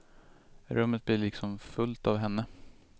Rummet blir liksom fullt av henne.